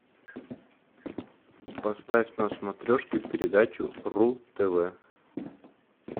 поставь на смотрешке передачу ру тв